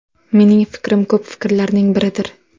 Mening fikrim ko‘p fikrlarning biridir.